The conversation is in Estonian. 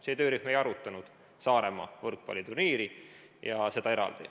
See töörühm ei arutanud Saaremaa võrkpalliturniiri eraldi.